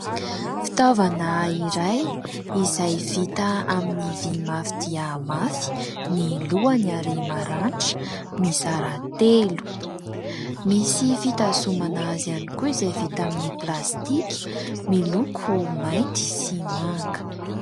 Fitaovana iray izay vita amin'ny vy mafy dia mafy ny lohany ary maranitra mizara telo. Misy fitazomana azy ihany koa izay vita amin'ny plastika miloko mainty sy manga.